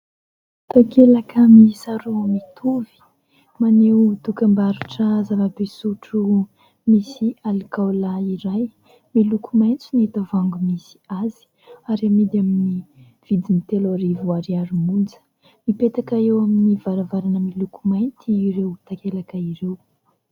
Takelaka miisa roa mitovy. Maneho dokam-barotra zava-pisotro misy alikaola iray. Miloko maitso ny tavoahangy misy azy ary amidy amin'ny vidiny telo arivo ariary monja. Mipetaka eo amin'ny varavarana miloko mainty ireo takelaka ireo.